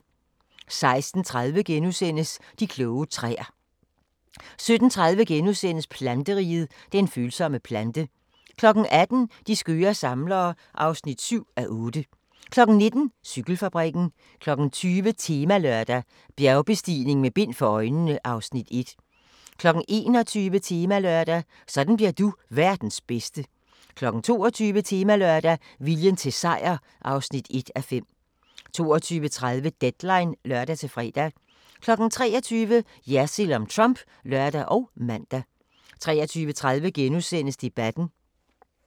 16:30: De kloge træer * 17:30: Planteriget – den følsomme plante * 18:00: De skøre samlere (7:8) 19:00: Cykelfabrikken 20:00: Temalørdag: Bjergbestigning med bind for øjnene (Afs. 1) 21:00: Temalørdag: Sådan bliver du verdens bedste 22:00: Temalørdag: Viljen til sejr (1:5) 22:30: Deadline (lør-fre) 23:00: Jersild om Trump (lør og man) 23:30: Debatten *